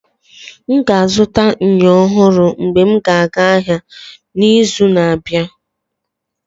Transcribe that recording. M ga-azụta myo ọhụrụ mgbe m ga aga ahịa n'izu na-abịa.